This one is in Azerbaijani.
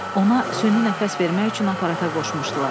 Ona süni nəfəs vermək üçün aparata qoşmuşdular.